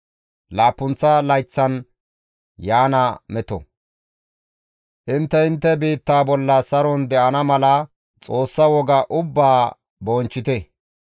« ‹Intte intte biittaa bolla saron de7ana mala Xoossa woga ubbaa bonchchite.